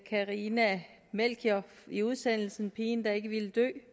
carina melchior i udsendelsen pigen der ikke ville dø